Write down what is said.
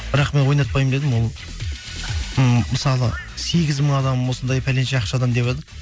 бірақ мен ойнатпаймын дедім ол ммм мысалы сегіз мың адам осындай пәленше ақшадан деватыр